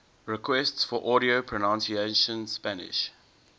requests for audio pronunciation spanish